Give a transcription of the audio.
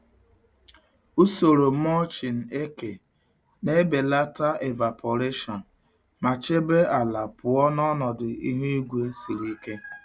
Usoro mulching eke na-ebelata evaporation ma chebe ala pụọ na ọnọdụ ihu igwe siri ike.